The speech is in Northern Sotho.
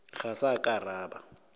ga sa ka ra ba